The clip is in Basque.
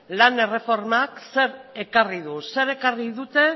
lan erreformak zer ekarri du zer ekarri dute